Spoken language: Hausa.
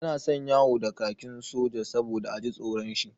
Yana son yawo da kakin soja saboda a ji tsoron shi.